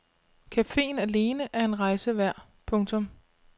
Cafeen alene er en rejse værd. punktum